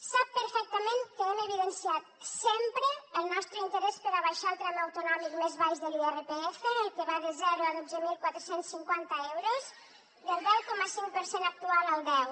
sap perfectament que hem evidenciat sempre el nostre interès per abaixar el tram autonòmic més baix de l’irpf el que va de zero a dotze mil quatre cents i cinquanta euros del deu coma cinc per cent actual al deu